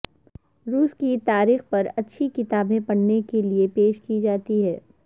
روس کی تاریخ پر اچھی کتابیں پڑھنے کے لئے پیش کی جاتی ہیں